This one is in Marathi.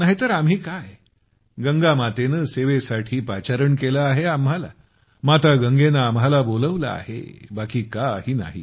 नाही तर आम्ही काय गंगामातेनं सेवेसाठी पाचारण केलं आहे आम्हाला माता गंगेनं आम्हाला बोलवलं आहे बाकी काही नाही